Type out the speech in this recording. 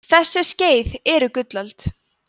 þessi skeið eru gullöld